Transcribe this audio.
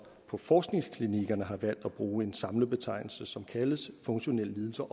på forskningsklinikkerne har valgt at bruge en samlet betegnelse som så kaldes funktionelle lidelser